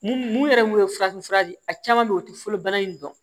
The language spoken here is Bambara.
Mun mun yɛrɛ mun ye farafinfura de ye a caman be ye o te fɔlɔ bana in dɔn